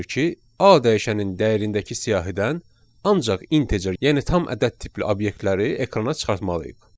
A dəyişənin dəyərindəki siyahıdan ancaq integer, yəni tam ədəd tipli obyektləri ekrana çıxartmalıyıq.